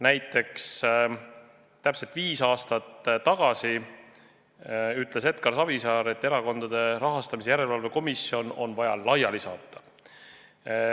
Näiteks täpselt viis aastat tagasi ütles Edgar Savisaar, et Erakondade Rahastamise Järelevalve Komisjon on vaja laiali saata.